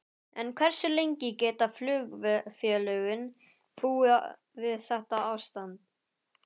En hversu lengi geta flugfélögin búið við þetta ástand?